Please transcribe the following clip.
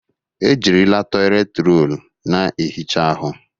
Ejirila toịletị rọlụ na-ehicha ahụ.